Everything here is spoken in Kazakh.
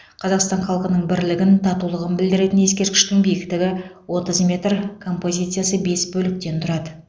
қазақстан халқының бірлігін татулығын білдіретін ескерткіштің биіктігі отыз метр композициясы бес бөліктен тұрады